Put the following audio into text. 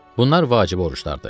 Bunlar vacib oruclardır.